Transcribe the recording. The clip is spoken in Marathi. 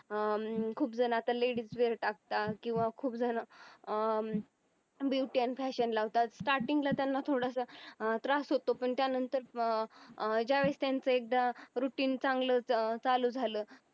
अं खूप जण आता ladies असतात किंवा खूप जण अं beauty fashion लावतात starting ला त्यांना थोडंसं अं त्रास होतो पण त्यानंतर अं ज्या वेळेस त्यांचे routing चांगलं चालू झालं